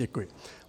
Děkuji.